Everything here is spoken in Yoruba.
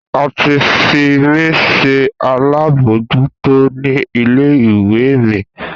A ti fi mí se alábòójútó ní ilé ìwé mi